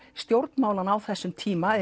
stjórnmálanna á þessum tíma